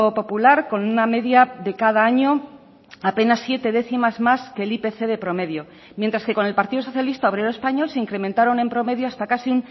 popular con una media de cada año apenas siete décimas más que el ipc de promedio mientras que con el partido socialista obrero español se incrementaron en promedio hasta casi